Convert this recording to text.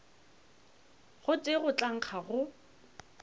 gotee go tla nkga go